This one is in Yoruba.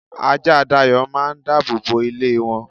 ajá Dayo máà ń dábòbò ilé won.